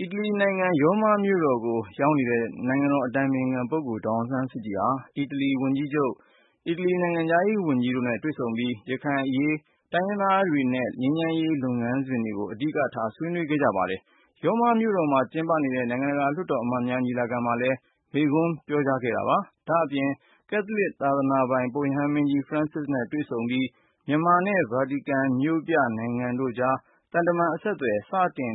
အီတလီ နိုင်ငံ ရောမမြို့တော်ကို ရောက်ရှိနေတဲ့ နိုင်ငံတော် အတိုင်ပင်ခံ ပုဂ္ဂိုလ် ဒေါ်အောင်ဆန်းစုကြည်နဲ့ အီတလီ ဝန်ကြီးချုပ်၊ နိုင်ငံခြားရေး ဝန်ကြီးတို့နဲ့ တွေ့ဆုံပြီး ရခိုင်အရေး၊ တိုင်းရင်းသားတွေနဲ့ ငြိမ်းချမ်းရေး လုပ်ငန်းစဉ်တို့ကို အဓိကထား ဆွေးနွေးခဲ့ကြပါတယ်။ ရောမမြို့တော်မှာ ကျင်းပနေတဲ့ နိုင်ငံတကာ လွှတ်တော် အမတ်များ ညီလာခံမှာလည်းမိန့်ခွန်းပြောဆိုခဲ့ပါတယ်။ ဒါ့အပြင် ကက်သလစ် သာသနာပိုင် ပုပ်ရဟန်းမင်းကြီး ဖရန်စစ်နဲ့ တွေ့ဆုံခဲ့ပြီးနောက်မြန်မာ နဲ့ ဗာတီကန် မြို့ပြ နိုင်ငံတို့ကြား သံတမန် အဆက်အသွယ် စတင်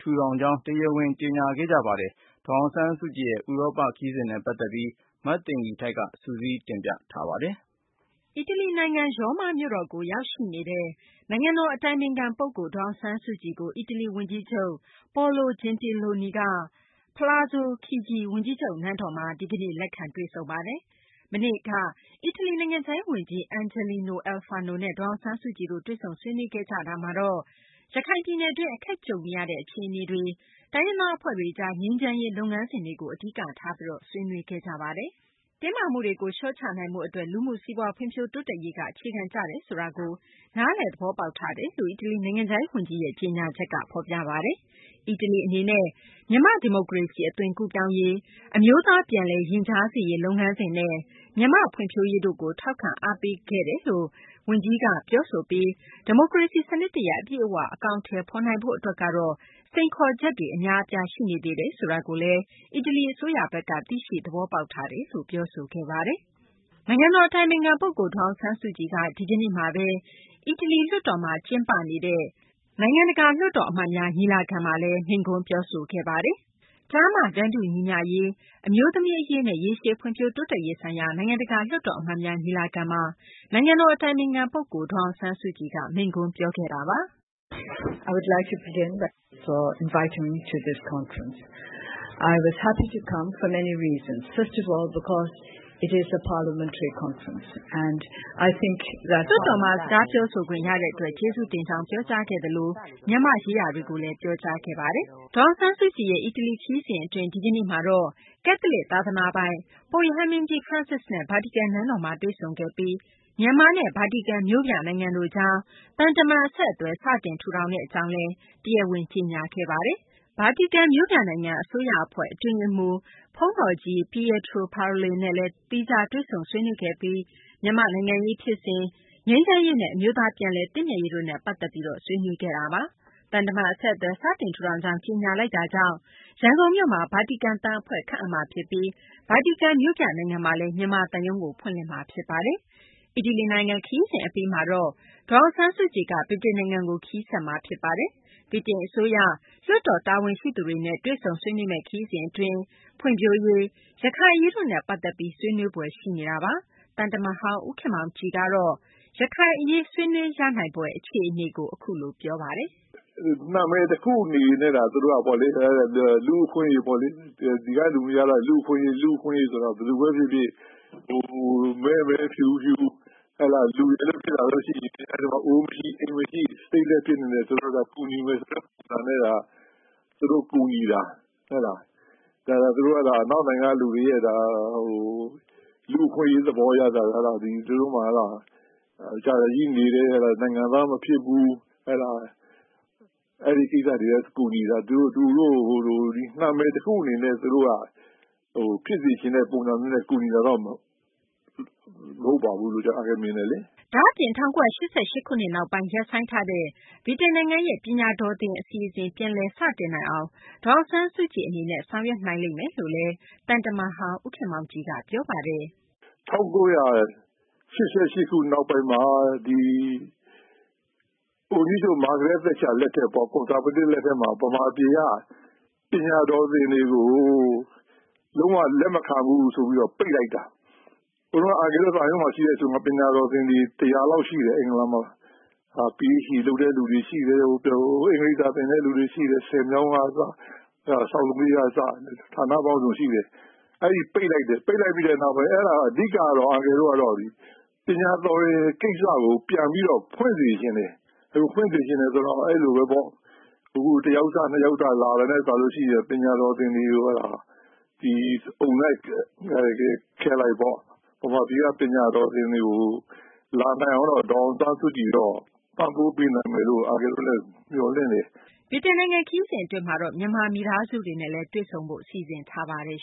ထူထောင်ကြောင်း တရားဝင် ကြေညာခဲ့ပါတယ်။ ဒေါ်အောင်ဆန်းစုကြည်ရဲ့ ဥရောပ ခရီးစဉ်နဲ့ ပတ်သက်ပြီး မသိင်္ဂ ီထိုက် စုစည်းတင်ပြထားပါတယ်။ အီတလီ နိုင်ငံ ရောမ မြို့တော်ကို ရောက်ရှိနေတဲ့ နိုင်ငံတော် အတိုင်ပင်ခံ ပုဂ္ဂိုလ် ဒေါ်အောင်ဆန်းစုကြည်ကို အီတလီ ဝန်ကြီးချုပ် Paolo Gentiloni က Palazzo Chigi ဝန်ကြီးချုပ် နန်းတော်မှာ လက်ခံတွေ့ဆုံခဲ့တာပါ။ မနေ့က အီတလီ နိုင်ငံခြားရေး ဝန်ကြီး Angelino Alfano နဲ့ ဒေါ်အောင်ဆန်းစုကြည်တို့ တွေ့ဆုံခဲ့ကြပြီး ရခိုင်ပြည်နယ်တွင်း အခက်ကြုံနေရတဲ့ အခြေအနေတွေ၊ တိုင်းရင်းသား အဖွဲ့တွေကြား ငြိမ်းချမ်းရေး လုပ်ငန်းစဉ်တို့ကို အဓိက ထားပြီး ဆွေးနွေးခဲ့ကြပါတယ်။ တင်းမာမှုတွေကို လျှော့ချနိုင်ဖို့ အတွက် လူမှု စီးပွား ဖွံ့ဖြိုးတိုးတက်ရေးက အခြေခံကျတယ်ဆိုတာကိုလည်း နားလည် သဘောပေါက်ထားတယ်လို့လည်း အီတလီ နိုင်ငံခြားရေး ဝန်ကြီးရဲ့ ကြေညာချက်က ဖော်ပြပါတယ်။ အီတလီ အနေနဲ့ မြန်မာ့ ဒီမိုကရေစီ အသွင်ကူးပြောင်းရေး၊ အမျိုးသား ပြန်လည်ရင်ကြားစေ့ရေး လုပ်ငန်းစဉ်နဲ့ မြန်မာ့ ဖွံ့ဖြိုးရေးတို့ကို ထောက်ခံအားပေးခဲ့တယ်လို့ နိုင်ငံခြားရေး ဝန်ကြီးက ပြောဆိုပြီး ဒီမိုကရေစီ စနစ်တရပ် အပြည့်အ၀ ဖော်ဆောင်နိုင်ရေး အတွက်ကတော့ စိန်ခေါ်ချက်တွေ အများအပြား ရှိနေသေးတယ်ဆိုတာကိုလည်း အီတလီ အစိုးရက သိရှိ သဘောပေါက်ထားပါတယ်လို့ ပြောဆိုထားပါတယ်။ နိုင်ငံတော် အတိုင်ပင်ခံ ပုဂ္ဂိုလ် ဒေါ်အောင်ဆန်းစုကြည်က ရောမမြို့တော်မှာ ကျင်းပနေတဲ့ နိုင်ငံတကာ လွှတ်တော် အမတ်များ ညီလာခံမှာ မိန့်ခွန်းပြောဆိုခဲ့ပါတယ်။ ကျားမတန်းတူညီမျှရေး၊ အမျိုးသမီးအရေးနဲ့ ရေရှည်ဖွံ့ဖြိုတိုးတက်ရေးဆိုင်ရာ နိုင်ငံတကာ လွှတ်တော် အမတ်များ ညီလာခံမှာ နိုင်ငံတော် အတိုင်ပင်ခံ ပုဂ္ဂိုလ် ဒေါ်အောင်ဆန်းစုကြည်က အခုလို ပြောဆိုခဲ့ပါတယ်။ လွှတ်တော်မှာ စကားပြောဆိုခွင့် ရတဲ့ အတွက် ကျေးဇူးတင်ကြောင်း ပြောကြားခဲ့သလို မြန်မာ့ရေးရာတွေကို ပြောကြားခဲ့တာပါ။ ဒေါ်အောင်ဆန်းစုကြည်ရဲ့ အီတလီ ခရီးစဉ် အတွင်း ဒီကနေ့မှာတော့ ကက်သလစ် သာသနာပိုင် ပုပ်ရဟန်းမင်းကြီး ဖရန်စစ်နဲ့ ဗာတီကန် နန်းတော်မှာ တွေ့ဆုံခဲ့ပြီး မြန်မာ နဲ့ ဗာတီကန် မြို့ပြ နိုင်ငံတို့ကြား သံတမန် အဆက်အသွယ် စတင်ထူထောင်ကြောင်း ဒီကနေ့ တရားဝင် ကြေညာလိုက်ပါတယ်။ ဗာတီကန်မြို့ပြနိုင်ငံ အစိုးရအဖွဲ့ အတွင်းရေးမှူး ဘုန်းတော်ကြီး Pietro Parollin နဲ့လည်း သီးခြား တွေ့ဆုံခဲ့ပြီး မြန်မာ့ နိုင်ငံရေး ဖြစ်စဉ်၊ ငြိမ်းချမ်းရေးနဲ့ အမျိုးသား ပြန်လည် သင့်မြတ်ရေးတို့နဲ့ ပတ်သက်ပြီး ဆွေးနွေးခဲ့ကြတာပါ။ သံတမန် အဆက်အသွယ် စတင်ထူထောင်ကြောင်း ကြေညာလိုက်တာကြောင့် ရန်ကုန်မြို့မှာ ဗာတီကန် သံအဖွဲ့ခန့်အပ်မယ်မှာ ဖြစ်ပြီး ဗာတီကန်မြို့ပြနိုင်ငံမှာလည်း မြန်မာ သံရုံးကို ဖွင့်လှစ်မှာ ဖြစ်ပါတယ်။ အီတလီ နိုင်ငံ ခရီးစဉ် အပြီးမှာတော့ ဒေါ်အောင်ဆန်းစုကြည်က ဗြိတိန်နိုင်ငံကို ခရီးဆက်မှာ ဖြစ်ပါတယ်။ ဗြိတိန် အစိုးရ၊ လွှတ်တော် တာဝန်ရှိသူတွေနဲ့ တွေ့ဆုံဆွေးနွေးမယ့် ခရီးစဉ် အတွင်း ဖွံ့ဖြိုးရေး၊ ရခိုင်အရေးတို့နဲ့ ပတ်သက်ပြီး ဆွေးနွေးဖွယ် ရှိနေတာပါ။ သံတမန်ဟောင်း ဦးခင်မောင်ကြည်ကတော့ ရခိုင်အရေး ဆွေးနွေးရနိုင်ဖွယ် အခြေအနေကို အခုလို ပြောပါတယ်။ “ နာမည် တခုအနေနဲ့ပေါ့လေ။ လူ့အခွင့်အရေး ပေါ့လေ။ ဒီက လူတွေကတော့ လူ့အခွင့်အရေး။ လူ့အခွင့်အရေးဆိုတာ ဘယ်သူဘဲ ဖြစ်ဖြစ် မဲမဲ၊ ဖြူဖြူ လူရယ်လို့ ဖြစ်လာလို့ ရှိရင် အဲဒီမှာ အိုးမရှိ အိမ်မရှိ၊ Stateless ဖြစ်နေတယ်ဆိုတော့ ကူညီမယ်ဆိုတဲ့ ပုံစံနဲ့သာ သူတို့ ကူညီတာ။ အနောက်နိုင်ငံက လူတွေရဲ့ လူ့အခွင့်အရေး သဘောအရသာ သူတို့မှာ ဟုတ်လား အကြာကြီး နေခဲ့တယ် နိုင်ငံသား မဖြစ်ဘူး အဲဒီ ကိစ္စတွေကို ကူညီတာ။ နာမည် တခုအနေနဲ့ သူတို့က ဖြစ်စေချင်တဲ့ ပုံစံနဲ့ ကူညီတာတော့ မဟုတ်ဘူးလို့ အန်ကယ် မြင်တယ်လေ။ ” ဒါ့အပြင် ၁၉၈၈ ခုနှစ် နောက်ပိုင်း ရပ်ဆိုင်းထားတဲ့ ဗြိတိန်နိုင်ငံရဲ့ ပညာတော်သင် အစီအစဉ် ပြန်လည် စတင်နိုင်အောင် ဒေါ်အောင်ဆန်းစုကြည် ဆောင်ရွက်နိုင်မယ်လို့လည်း သံတမန်ဟောင်း ဦးခင်မောင်ကြည်က ဆိုပါတယ်။ “၁၉၈၈ ခုနှစ် နောက်ပိုင်းမှာ ဝန်ကြီးချုပ် မာဂရက်သက်ချာ လက်ထက်ပေါ့ ကွန်ဆာဗေးတစ် လက်ထက်မှာ ပညာတော်သင်တွေကို လုံး၀ လက်မခံဘူးဆိုပြီး ပိတ်လိုက်တာ။ ဟိုတုန်းက အန်ကယ်လ်တို့ သံရုံးမှာ ရှိတဲ့ အချိန်က ပညာတော်သင်တွေ ၁၀၀ လောက် ရှိတယ် အင်္ဂလန်မှာ။ PhD လုပ်တဲ့သူတွေ ရှိတယ်။ အင်္ဂလိပ်စာ သင်တဲ့သူတွေ ရှိတယ်။ ဆည်မြောင်းကစ၊ ဆောက်လုပ်ရေးကစ ဌာနပေါင်းစုံ ရှိတယ်။ အဲဒါ ပိတ်လိုက်တယ်။ ပိတ်လိုက်ပြီးတဲ့ နောက်ပိုင်း အဲဒါ အန်ကယ်လ်တို့က ပညာတော်သင် ကိစ္စကို ပြန်ပြီးတော့ ဖွင့်စေချင်တယ်။ ဖွင့်စေချင်တယ်ဆိုတော့ အဲဒီလိုဘဲပေါ့ အခု တယောက်စ နှစ်ယောက်စ လာတာနဲ့ စာလို့ရှိရင် ပညာတော်သင်တွေ အုံလိုက်ခဲလိုက်ပေါ့ ဟိုမှာ ဒီက ပညာတော်သင်တွေကို လာနိုင်အောင်တော့ ဒေါ်အောင်ဆန်းစုကြည်က ပံ့ပိုးပေးနိုင်မယ်လို့ အန်ကယ်လ်တို့လည်း မျှော်လင့်တယ်။ ” ဗြိတိန် နိုင်ငံ ခရီးစဉ် အတွင်းမှာတော့ မြန်မာမိသားစုတွေနဲ့လည်း တွေ့ဆုံဖို့ စီစဉ်ထားပါတယ်